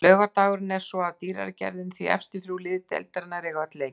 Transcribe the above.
Laugardagurinn er svo af dýrari gerðinni því efstu þrjú lið deildarinnar eiga öll leiki.